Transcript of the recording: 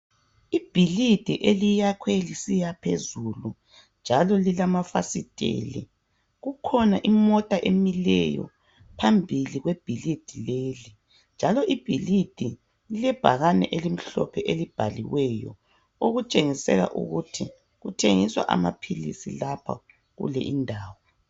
Ibhilidi eliyakhwe lisiya phezulu njalo lilamafasiteli kukhona imota emileyo phambili kwebhilidi leli njalo ibhilidii lilebhakane elimhlophe elibhaliweyo okutshengisa ukuthi kuthengiswa amaphilisi lapha kuleyindawo.